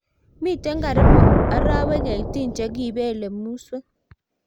Mitei karibu arariywek 18 chekipele muswek